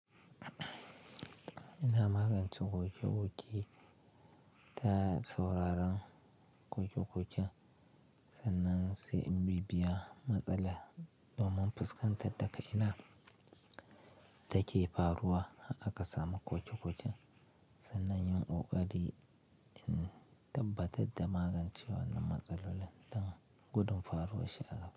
Ina magance ƙoƙe-ƙoƙe ta sauraron ƙoƙe-ƙoƙen, sannan sai in bibbiya matsala domin fuskantar da ga'ina take faruwa a ƙasa ma ƙoƙe-ƙoƙen, sannan yin ƙoƙari in tabbatar da magance wannan matsaloli don gudun faruwa shi a gaba.